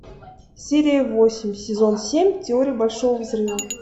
серия восемь сезон семь теория большого взрыва